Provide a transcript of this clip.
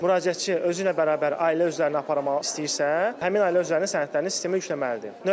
Müraciətçi özü ilə bərabər ailə üzvlərini aparmaq istəyirsə, həmin ailə üzvlərinin sənədlərini sistemə yükləməlidir.